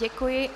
Děkuji.